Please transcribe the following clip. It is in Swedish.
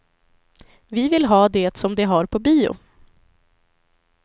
Vi vill ha det som de har på bio.